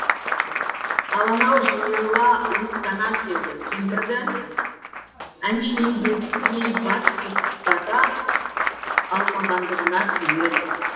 ал анау жиырыла уыттана түседі кемпірді әншейіндегісіндей бат бұттата алмағандығына күйеді